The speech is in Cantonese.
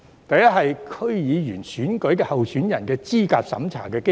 第一是區議會選舉候選人的資格審查機制。